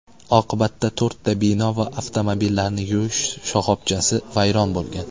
Oqibatda to‘rtta bino va avtomobillarni yuvish shoxobchasi vayron bo‘lgan.